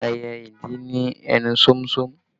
Ẹyẹ ìdì ní ẹnu sómúsómú